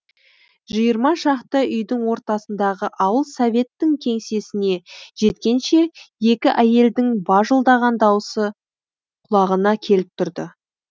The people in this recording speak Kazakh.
жиырма шақты үйдің ортасындағы ауыл советтің кеңсесіне жеткенше екі әйелдің бажылдаған даусы құлағына келіп тұрды